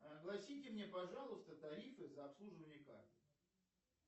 огласите мне пожалуйста тарифы за обслуживание карты